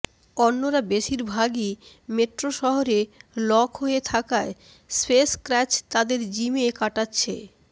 অন্যরা বেশিরভাগই মেট্রো শহরে লক হয়ে থাকায় স্পেস ক্রাচ তাদের জিমে কাটাচ্ছে